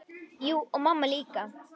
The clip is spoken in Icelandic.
Já, og mamma líka.